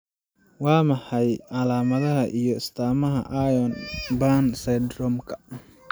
Waa maxay calaamadaha iyo astaamaha Irons Bhan syndromka